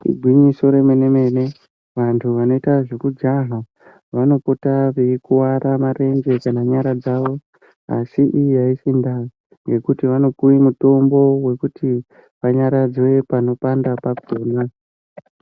Igwinyiso remene-mene vantu vanoita zvekujaha vanopota veikuwara marenje kana nyara dzavo. Asi iyi aisi ndaa yekuti vanopuwe mutombo wekuti vanyaradzwe panopanda pakhona.